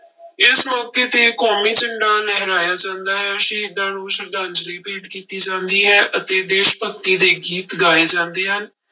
ਇਸ ਮੌਕੇ ਤੇ ਕੌਮੀ ਝੰਡਾ ਲਹਰਾਇਆ ਜਾਂਦਾ ਹੈ, ਸ਼ਹੀਦਾਂ ਨੂੰ ਸਰਧਾਂਂਜਲੀ ਭੇਟ ਕੀਤੀ ਜਾਂਦੀ ਹੈ ਅਤੇ ਦੇਸ ਭਗਤੀ ਦੇ ਗੀਤ ਗਾਏ ਜਾਂਦੇ ਹਨ।